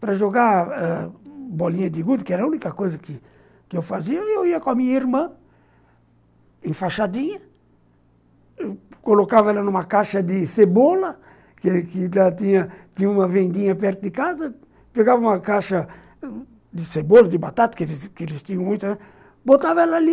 Para jogar ãh bolinha de gude, que era a única coisa que que eu fazia, eu ia com a minha irmã enfaixadinha, colocava ela numa caixa de cebola, que que já tinha tinha uma vendinha perto de casa, pegava uma caixa de cebola, de batata, que eles tinham muita, botava ela ali.